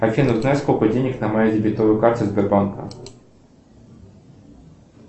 афина узнай сколько денег на моей дебетовой карте сбербанка